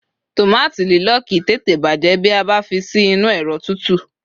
tomato lílo kìí tète bajẹ bi a ba fi sí inú ẹrọ tutu